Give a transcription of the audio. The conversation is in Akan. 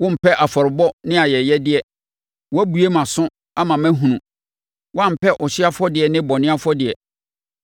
Wompɛ afɔrebɔ ne ayɛyɛdeɛ, woabue mʼaso ama mahunu; woampɛ ɔhyeɛ afɔdeɛ ne bɔne afɔdeɛ.